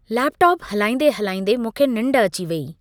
Laptop हलाईंदे हलाईंदे मूंखे निंड अची वेई।